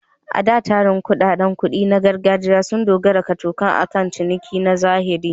A da, tsarin kuɗaɗen kuɗi na gargajiya sun dogara kacokan akan ciniki na zahiri.